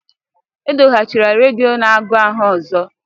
Edoghachila redio n'agu ahụ ọzọ!